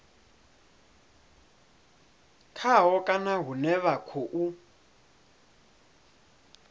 khaho kana hune vha khou